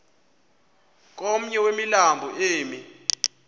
komnye wemilambo emi